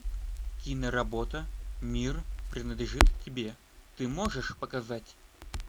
киноработа мир принадлежит тебе ты можешь показать